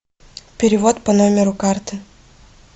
перевод по номеру карты